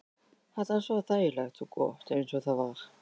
Þetta var svo þægilegt og gott eins og það var.